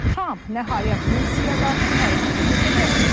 Tramp nəhayət Rusiyaya qarşı hərəkətə keçəcəkmi?